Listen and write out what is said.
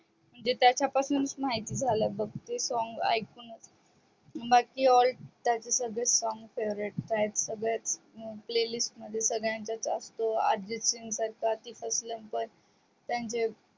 म्हणजे त्याच्या पासूननच माहिती झाल बघ ते song ऐकूनच त्याचे सगळेच song favorite आहेत playlist मध्ये सगळ्यांच्याच असतो अर्जित सिंघ